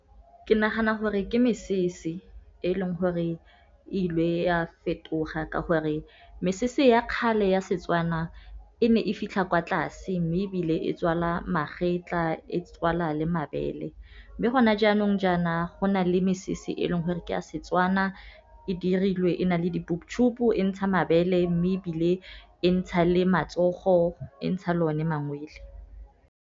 Ke nagana gore ke mesese e leng gore e ilwe e a fetoga ka gore, mesese ya kgale ya Setswana e ne e fitlha kwa tlase, mme ebile e tswala magetla e tswala le mabele. Mme gona jaanong jaana go na le mesese e leng gore ke ya Setswana, e dirilwe e na le di-boobtube, e ntsha mabele mme ebile e ntsha le matsogo, e ntsha lone mangwele.